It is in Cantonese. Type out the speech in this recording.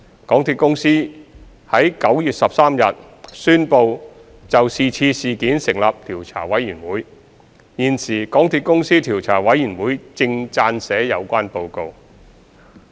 港鐵公司於9月13日宣布就這次事件成立調查委員會，現時港鐵公司調查委員會正撰寫有關報告。